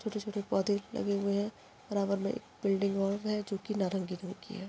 छोटे-छोटे पौधे लगे हुए है बराबर मे एक बिल्डिंग और है जो कि नारगी रंग की है।